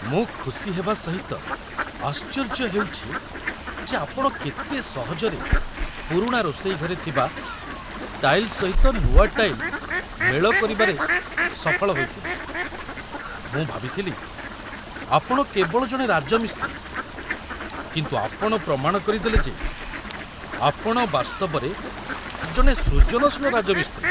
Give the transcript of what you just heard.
ମୁଁ ଖୁସି ହେବା ସହିତ ଆଶ୍ଚର୍ଯ୍ୟ ହେଉଛି ଯେ ଆପଣ କେତେ ସହଜରେ ପୁରୁଣା ରୋଷେଇ ଘରେ ଥିବା ଟାଇଲ୍ ସହିତ ନୂଆ ଟାଇଲ୍ ମେଳ କରିବାରେ ସଫଳ ହୋଇଥିଲେ ମୁଁ ଭାବିଥିଲି ଆପଣ କେବଳ ଜଣେ ରାଜମିସ୍ତ୍ରୀ, କିନ୍ତୁ ଆପଣ ପ୍ରମାଣ କରିଦେଲେ ଯେ ଆପଣ ବାସ୍ତବରେ ଜଣେ ସୃଜନଶୀଳ ରାଜମିସ୍ତ୍ରୀ।